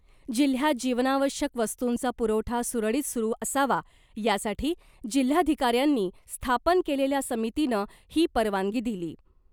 जिल्ह्यात जीवनावश्यक वस्तूंचा पुरवठा सुरळीत सुरू असावा , यासाठी जिल्हाधिकाऱ्यांनी स्थापन केलेल्या समितीनं ही परवानगी दिली .